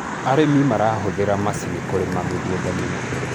arĩmi marahuthira macinĩ kurima mĩgũnda minene